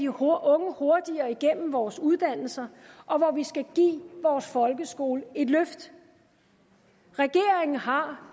hurtigere igennem vores uddannelser og hvor vi skal give vores folkeskole et løft regeringen har